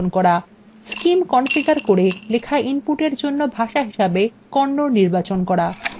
scim configure করে লেখা input এর জন্য ভাষা হিসেবে kannada নির্বাচন করুন